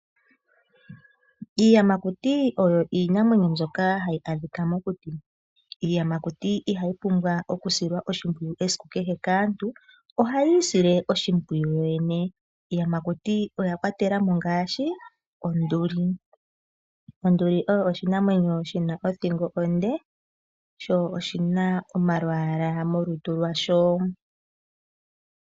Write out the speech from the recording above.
Iiyamakuti oyo iinamwenyo mbyoka hayi adhika mokuti, iiyamakuti ihayi pumbwa oku silwa oshimpwiyu esiku kehe kaantu, ohayii sile oshimpwiyu kuyo yene. Iiyamakuti oya kwatela mo ngaashi onduli. Onduli oyo oshinamwenyo shina othingo onde sho oshina omalwaala molutu lwasho.